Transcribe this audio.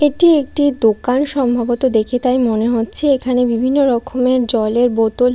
এটি একটি দোকান সম্ভবত দেখে তাই মনে হচ্ছে এখানে বিভিন্ন রকমের জলের বোতল--